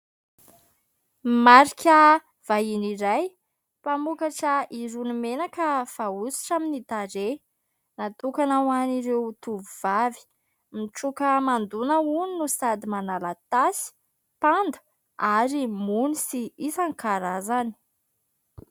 Marika vahiny iray mpamokatra irony menaka fahosotra amin'ny tarehy natokana ho an'ireo tovovavy, mitroaka hamandoana hono no sady manala tasy, panda ary mony sy isan-karazany.